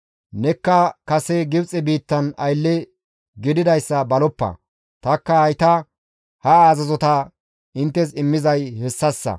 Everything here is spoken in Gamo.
Nekka kase Gibxe biittan aylle gididayssa baloppa; tanikka hayta ha azazota inttes immizay hessassa.